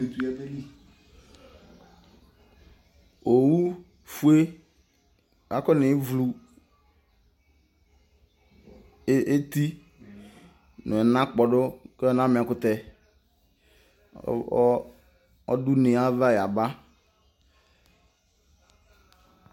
Owu fue akɔnevlu eti nʋ ɛna kpɔdʋ kanama ɛkʋtɛ, ɔdʋ une yɛ ayava yaba